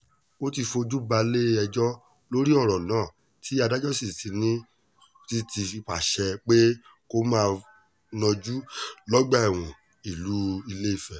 ó ti fojú balẹ̀-ẹjọ́ lórí ọ̀rọ̀ náà tí adájọ́ sì ti pàṣẹ pé kó máa najú lọ́gbà ẹ̀wọ̀n ìlú ilẹ̀fẹ̀